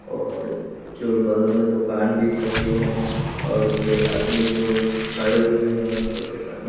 और जो बगल में दुकान भी सभी है और दो आदमी जाे खड़े हुए है। एके साथ --